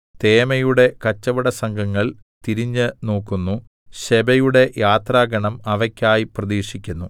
തേമയുടെ കച്ചവടസംഘങ്ങൾ തിരിഞ്ഞുനോക്കുന്നു ശെബയുടെ യാത്രാഗണം അവക്കായി പ്രതീക്ഷിക്കുന്നു